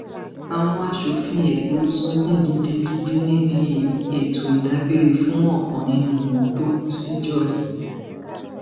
àwọn aṣòfin èkó sunkún gidigidi níbi ètò ìdágbére fún ọkan nínú wọn tó kù sí jos